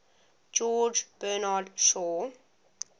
george bernard shaw